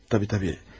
Təbii, təbii.